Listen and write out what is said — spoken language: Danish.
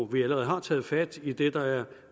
vi allerede har taget fat i idet der er